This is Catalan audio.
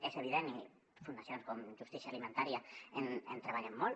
és evident i fundacions com justícia alimentària hi treballen molt